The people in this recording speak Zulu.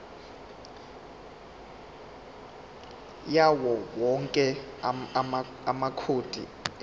yawowonke amacode emidlalo